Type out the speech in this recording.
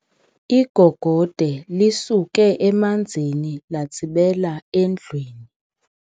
Igogode lisuke emanzini latsibela endlwini.